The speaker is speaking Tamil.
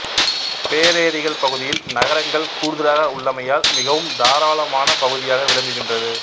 பேரேரிகள் பகுதியில் நகரங்கள் கூடுதலாக உள்ளமையால் மிகவும் தாராளமான பகுதியாக விளங்குகிறது